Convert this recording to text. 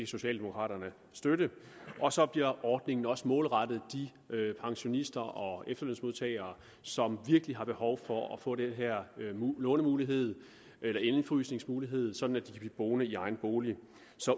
socialdemokraterne støtte og så bliver ordningen også målrettet de pensionister og efterlønsmodtagere som virkelig har behov for at få den her lånemulighed eller indefrysningsmulighed sådan at de kan blive boende i egen bolig